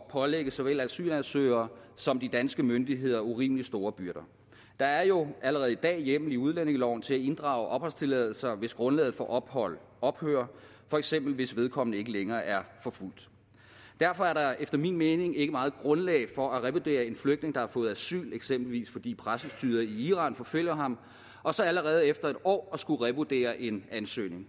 at pålægge såvel asylansøgere som de danske myndigheder urimelig store byrder der er jo allerede i dag hjemmel i udlændingeloven til at inddrage opholdstilladelser hvis grundlaget for ophold ophører for eksempel hvis vedkommende ikke længere er forfulgt derfor er der efter min mening ikke meget grundlag for at revurdere en flygtning der har fået asyl eksempelvis fordi præstestyret i iran forfølger ham og så allerede efter en år at skulle revurdere en ansøgning